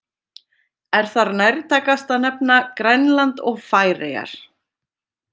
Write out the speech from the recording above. Er þar nærtækast að nefna Grænland og Færeyjar.